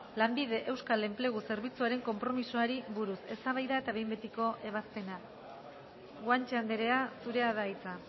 lanbide euskal enplegu zerbitzuaren konpromisoari buruz eztabaida eta behin betiko ebazpena guanche andrea zurea da hitza